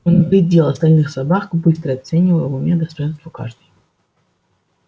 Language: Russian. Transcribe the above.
он оглядел остальных собак быстро оценивая в уме достоинства каждой